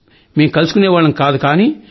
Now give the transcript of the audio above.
మేం కలుసుకునేవాళ్లం కాదు కానీ